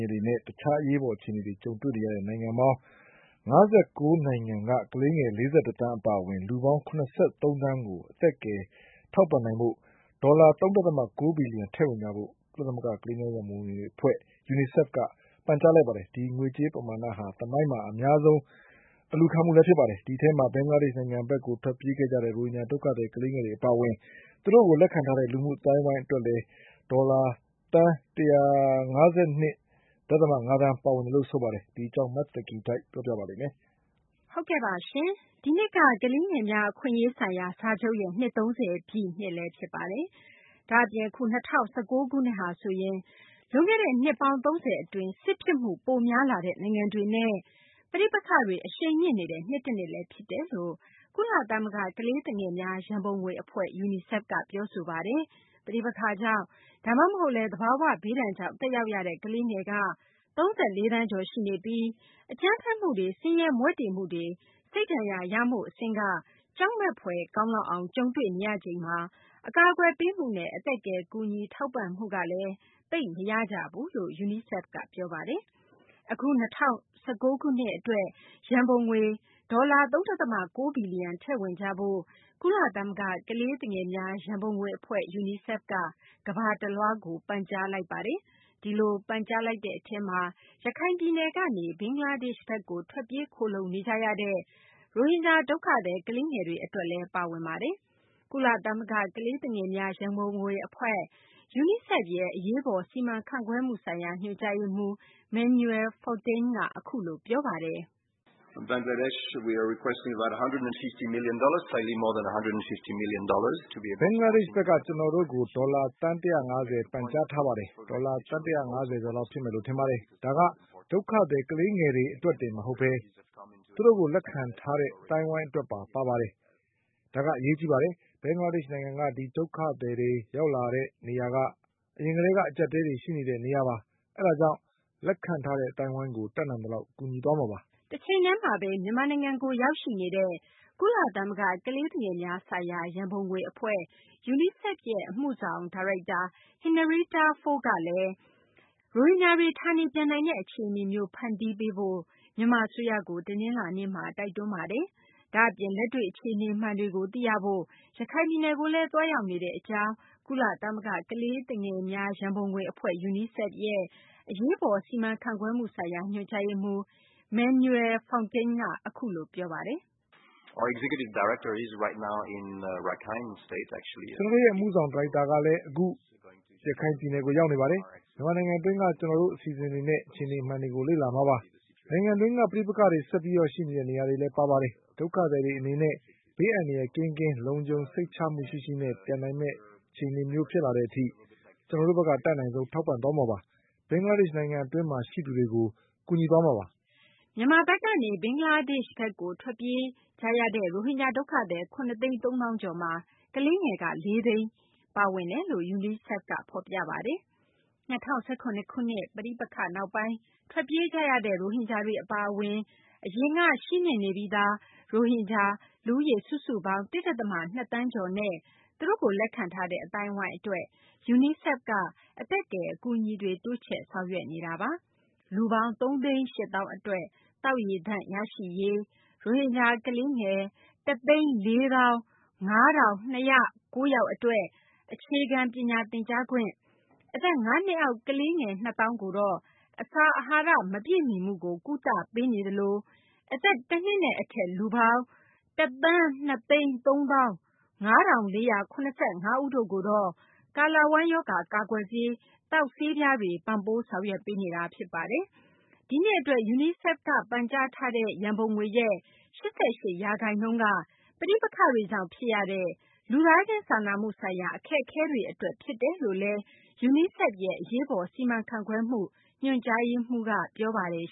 ေနဲ့ တခြား အရေးပေါ် အခြေအနေတွေ ကြုံတွေ့နေရတဲ့ နိုင်ငံပေါင်း ၅၉ နိုင်ငံက ကလေးငယ် ၄၁ သန်း အပါအဝင် လူပေါင်း ၇၃ သန်းကို အသက်ကယ် ထောက်ပံ့နိုင်ဖို့ အတွက် ဒေါ်လာ ၃ ဒသမ ၉ ဘီလျံထည့်ဝင်ကြဖို့ ကုလသမဂ္ဂ ကလေးသူငယ်များ ရန်ပုံငွေ အဖွဲ့ UNICEF က ပန်ကြားလိုက်ပါတယ်။ ဒီငွေကြေး ပမာဏဟာဆိုရင် သမိုင်းမှာ အများဆုံး တောင်းခံ ပန်ကြားမှုလည်း ဖြစ်ပါတယ်။ ဒီထဲမှာ ဘင်္ဂလားဒေရှ့် နိုင်ငံဘက်ကို ထွက်ပြေးကြရတဲ့ ရိုဟင်ဂျာ ဒုက္ခသည် ကလေးငယ်တွေ အပါအဝင် သူတို့ကို လက်ခံထားတဲ့ လူမှု အသိုင်းအဝိုင်း အတွက်လည်း ဒေါ်လာ သန်း ၁၅၂ ဒသမ ၅ သန်း ပါဝင်ပါတယ်။ မသိင်္ဂ ီထိုက် စုစည်းတင်ပြပေးမှာပါ။ ဒီနှစ်က ကလေးငယ်များ အခွင့်အရေးဆိုင်ရာ စာချုပ်ရဲ့ နှစ် ၃၀ ပြည့် ဖြစ်ပါတယ်။ ဒါ့အပြင် အခု ၂၀၁၉ ခုနှစ်ဟာဆိုရင် လွန်ခဲ့တဲ့ နှစ်ပေါင်း ၃၀ အတွင်း စစ်ဖြစ်မှုပိုများလာတဲ့ နိုင်ငံတွေနဲ့ ပဋိပက္ခတွေ အရှိန်မြင့်နေတဲ့ နှစ်တနှစ်လည်း ဖြစ်တယ်လို့ ကုလသမဂ္ဂ ကလေးသူငယ်များ ရံပုံငွေ အဖွဲ့ UNICEF က ပြောဆိုပါတယ်။ ပဋိပက္ခကြောင့် ဒါမှမဟုတ်လည်း သဘာ၀ ဘေးဒဏ်ကြောင့် သက်ရောက်ရတဲ့ ကလေးငယ်က ၃၄ သန်းကျော် ရှိနေပြီး အကြမ်းဖက်မှုတွေ၊ ဆင်းရဲမွဲတေမှုတွေ စိတ်ဒဏ်ရာ ရမှု အဆင့်က ကြောက်မက်ဖွယ်ကောင်းလောက်အောင် ကြုံတွေ့နေရချိန်မှာ အကာအကွယ်ပေးမှုနဲ့ အသက်ကယ် ကူညီထောက်ပံ့မှုကလည်း သိပ်မရကြဘူးလို့ UNICEF က ပြောပါတယ်။ အခု ၂၀၁၉ ခုနှစ် အတွက် ရံပုံငွေ ဒေါ်လာ ၃ ဒသမ ၉ ဘီလျံထည့်ဝင်ကြဖို့ ကုလသမဂ္ဂ ကလေးသူငယ်များ ရန်ပုံငွေ အဖွဲ့ UNICEF က ကမ္ဘာတလွှားကို ပန်ကြားလိုက်ပါတယ်။ ဒီလို ပန်ကြားလိုက်တဲ့ အထဲမှာ ရခိုင်ပြည်နယ်ကနေ ဘင်္ဂလားဒေရှ့်ဘက်ကို ထွက်ပြေးခိုလှုံနေကြရတဲ့ ရိုဟင်ဂျာ ဒုက္ခသည် ကလေးငယ်တွေ အတွက်လည်း ပါဝင်ပါတယ်။ ကုလသမဂ္ဂ ကလေးသူငယ်များ ရန်ပုံငွေ အဖွဲ့ UNICEF ရဲ့ အရေးပေါ် စီမံခန့်ခွဲမှုဆိုင်ရာ ညွှန်ကြားရေးမှူး Manuel Fontaine က အခုလို ပြောပါတယ်။ ဘင်္ဂလားဒေရှ့်ဘက်က ကျနော်တို့ကို ဒေါ်လာ သန်း ၁၅၀ ပန်ကြားထားပါတယ်။ ဒေါ်လာ သန်း ၁၅၀ ကျော်လောက် ဖြစ်မယ် ထင်ပါတယ်။ ဒါက ဒုက္ခသည် ကလေးငယ်တွေ အတွက်တင် မဟုတ်ဘဲ သူတို့ကို လက်ခံထားတဲ့ အသိုင်းအဝိုင်းအတွက်ပါ ပါပါတယ်။ ဒါက အရေးကြီးပါတယ်။ ဘင်္ဂလားဒေရှ့် နိုင်ငံက ဒီဒုက္ခသည်တွေ ရောက်လာတဲ့ နေရာက အရင်ကတည်း အကြပ်အတည်းတွေ ရှိနေတဲ့ နေရာပါ။ ဒါကြောင့် လက်ခံထားတဲ့ အသိုင်းအဝိုင်းကို တတ်နိုင်သလောက် ကူညီသွားမှာပါ။ တချိန်တည်းမှာဘဲ မြန်မာနိုင်ငံကို ရောက်ရှိနေတဲ့ ကုလသမဂ္ဂ ကလေးသူငယ်များဆိုင်ရာ ရံပုံငွေ အဖွဲ့ UNICEF ရဲ့ အမှုဆောင် ဒါရိုက်တာ Henrietta Fore ကလည်း ရိုဟင်ဂျာတွေ ဌာနေပြန်နိုင်တဲ့ အခြေအနေမျိုး ဖန်တီးပေးဖို့ မြန်မာ အစိုးရကို တနလာၤနေ့မှာ တိုက်တွန်းပါတယ်။ ဒါ့အပြင် လက်တွေ့ အခြေအနေမှန်တွေကို သိရဖို့ ရခိုင်ပြည်နယ်ကိုလည်း သွားရောက်နေတဲ့ အကြောင်း ကုလသမဂ္ဂ ကလေးသူငယ်များ ရန်ပုံငွေ အဖွဲ့ UNICEF ရဲ့ အရေးပေါ် စီမံခန့်ခွဲမှုဆိုင်ရာ ညွှန်ကြားရေးမှူး Manuel Fontaine က အခုလို ပြောပါတယ်။ ကျနော်တို့ရဲ့ အမှုဆောင် ဒါရိုက်တာလည်း အခု ရခိုင်ပြည်နယ်ကို ရောက်ရှိနေပါတယ်။ မြန်မာနိုင်ငံတွင်းက ကျနော်တို့ အစီအစဉ်တွေနဲ့ အခြေအနေမှန်တွေကို လေ့လာမှာပါ။ နိုင်ငံတွင်းက ပဋိပက္ခတွေ ဆက်လက်ရှိနေတဲ့ နေရာတွေလည်း ပါပါတယ်။ ဒုက္ခသည်တွေ အနေနဲ့ ဘေးအန္တရာယ် ကင်းကင်း စိတ်ချလုံခြုံမှု ရှိရှိနဲ့ ပြန်နိုင်မယ့် အခြေအနေမျိုး ဖြစ်လာတဲ့ အထိ ကျနော်တို့ဘက်က အတတ်နိုင်ဆုံး ထောက်ပံ့သွားမှာပါ။ ဘင်္ဂလားဒေရှ့် နိုင်ငံတွင်းမှာ ရှိသူတွေကို ကူညီသွားမှာပါ။ မြန်မာဘက်ကနေ ဘင်္ဂလားဒေရှ့် ဘက်ကို ထွက်ပြေးကြရတဲ့ ရိုဟင်ဂျာ ဒုက္ခသည် ၇ သိန်း ၃ သောင်းကျော်မှာ ကလေးငယ်က ၄ သိန်း ပါဝင်တယ်လို့လည်း UNICEF က ဖော်ပြပါတယ်။ ၂၀၁၇ ခုနှစ် ပဋိပက္ခနောက်ပိုင်း ထွက်ပြေးကြရတဲ့ ရိုဟင်ဂျာတွေ အပါအဝင် အရင်က ရှိနှင့်နေပြီးသား ရိုဟင်ဂျာ လူဦးရေ စုစုပေါင်း ၁ ဒသမ ၂ သန်းကျော်နဲ့ သူတို့ကို လက်ခံထားတဲ့ အသိုင်းအဝိုင်းအတွက် UNICEF က အသက်ကယ် အကူအညီတွေ တိုးချဲ့ဆောင်ရွက်နေတာပါ။ လူပေါင်း ၃ သိန်း ၈ သောင်း အတွက် သောက်ရေသန့် ရရှိရေး၊ ရိုဟင်ဂျာ ကလေးငယ် ၁၄၅,၂၀၉ ယောက် အတွက် အခြေခံ ပညာသင်ကြားခွင့်၊ အသက် ၅ နှစ်အောက် ကလေးငယ် ၂ သောင်းကိုတော့ အစာအဟာရ မပြည့်မီမှုကို ကုသပေးနေသလို အသက် ၁ နှစ်နဲ့ အထက် လူပေါင်း ၁,၂၃၅,၄၇၅ တို့ကိုတော့ ကာလဝမ်း ရောဂါ ကာကွယ်ဆေး သောက်ဆေးပြားတွေ ပံ့ပိုးဆောင်ရွက်ပေးနေတာ ဖြစ်ပါတယ်။ ဒီနှစ် အတွက် UNICEF က ပန်ကြားထားတဲ့ ရန်ပုံငွေရဲ့ ၈၈ ရာခိုင်နှုန်းက ပဋိပက္ခတွေကြောင့် ဖြစ်ရတဲ့ လူသားချင်းစာနာမှုဆိုင်ရာ အခက်အခဲတွေ အတွက် ဖြစ်တယ်လို့လည်း UNICEF ရဲ့ အရေးပေါ် စီမံခန့်ခွဲမှု ညွှန်ကြားရေးမှူးက ပြောပါတယ်